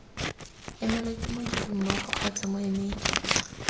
emelwa ke modirimmogo kgotsa moemedi